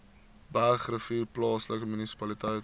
bergrivier plaaslike munisipaliteit